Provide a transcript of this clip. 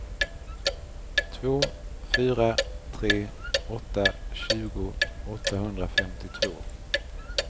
två fyra tre åtta tjugo åttahundrafemtiotvå